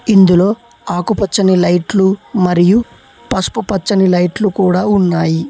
ఇందులో ఆకుపచ్చని లైట్లు మరియు పసుపు పచ్చని లైట్లు కూడా ఉన్నాయి.